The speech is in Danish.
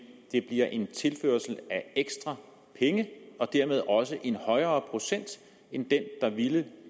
det bliver en tilførsel af ekstra penge og dermed også en højere procent end den der ville